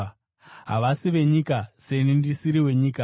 Havasi venyika, seni ndisiri wenyika.